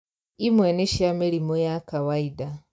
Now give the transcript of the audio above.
Imwe nĩ cia mĩrimũ ya kawainda